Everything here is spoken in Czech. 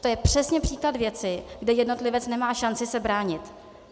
To je přesně příklad věci, kde jednotlivec nemá šance se bránit.